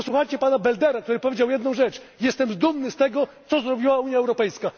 Posłuchajcie pana Beldera, który powiedział jedną rzecz jestem dumny z tego, co zrobiła Unia Europejska.